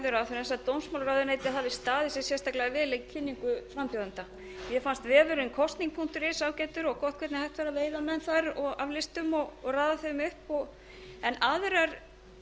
ráðherrans að dómsmálaráðuneytið hafi staðið sig sérstaklega vil í kynningu frambjóðenda mér fannst vefurinn kosning punktur is ágætur og gott hvernig hægt er að veiða menn þar af listum og raða þeim upp en aðrar